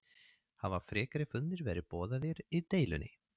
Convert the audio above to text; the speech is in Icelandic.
Hafa frekari fundir verið boðaðir í deilunni?